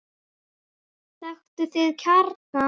Þekktu þinn kjarna!